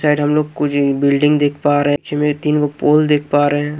Side हम लोग कुझिन बिल्डिंग देख पा रहे हैं तीन को पोल देख पा रहे हैं।